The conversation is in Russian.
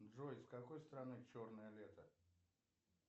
джой с какой стороны черное лето